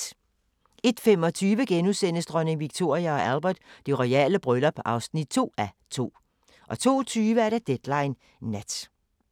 01:25: Dronning Victoria & Albert: Det royale bryllup (2:2)* 02:20: Deadline Nat